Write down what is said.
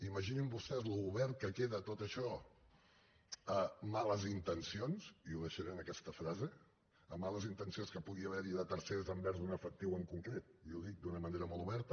imaginin vostès com d’obert queda tot això a males intencions i ho deixaré en aquesta frase a males intencions que pugui haver hi de tercers envers un efectiu en concret i ho dic d’una manera molt oberta